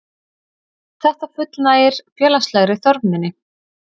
Þetta fullnægir félagslegri þörf minni.